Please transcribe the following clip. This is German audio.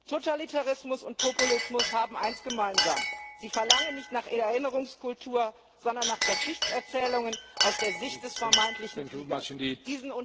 Totalitarismus und Populismus haben eins gemeinsam Sie verlangen nicht nach Erinnerungskultur, sondern nach Geschichtserzählungen aus der Sicht des vermeintlichen Siegers.